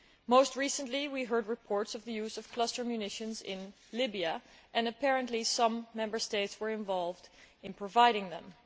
Most recently, we heard reports of the use of cluster munitions in Libya and apparently some Member States were involved in providing them.